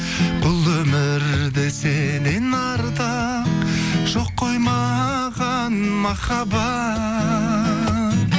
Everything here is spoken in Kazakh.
бұл өмірде сеннен артық жоқ қой маған махаббат